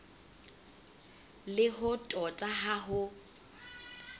le ho tota ha ho